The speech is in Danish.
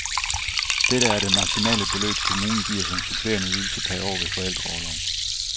Dette er det maksimale beløb kommunen giver som supplerende ydelse per år ved forældreorlov.